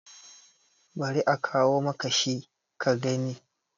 bari a kawo maka shi ka gani!